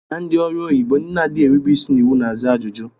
Na ndị ọrụ onyibo, ndị na-adịghị erube isi n'iwu na-aza ajụjụ